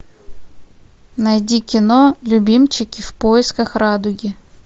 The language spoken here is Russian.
найди кино любимчики в поисках радуги